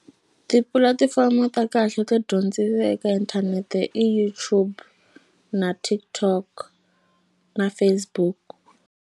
Tipulatifomo ta kahle to dyondzisa eka inthanete i YouTube na TikTok na Facebook.